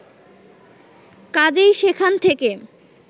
কাজেই সেখান থেকে